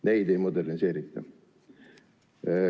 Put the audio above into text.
Neid ei moderniseerita.